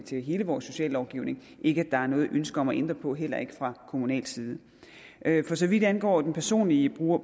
til hele vores sociallovgivning ikke at der er noget ønske om at ændre på heller ikke fra kommunal side for så vidt angår den personlige